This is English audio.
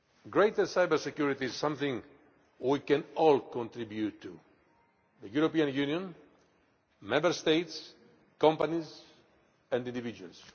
Greater cybersecurity is something we can all contribute to the European Union, Member States, companies and individuals.